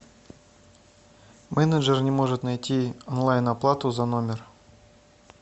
менеджер не может найти онлайн оплату за номер